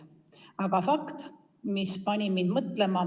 Aga oli üks fakt, mis pani mind mõtlema.